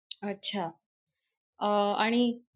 अच्छा. अं आणि